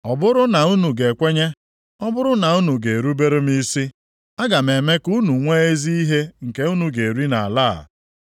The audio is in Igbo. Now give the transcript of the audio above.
Ọ bụrụ na unu ga-ekwenye, ọ bụrụ na unu ga-erubere m isi, aga m eme ka unu nwee ezi ihe nke unu ga-eri nʼala a.